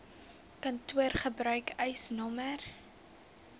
kantoor gebruik eisnr